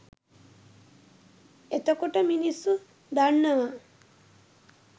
එතකොට මිනිස්සු දන්නවා